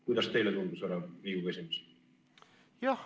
Kuidas teile tundus, härra Riigikogu esimees?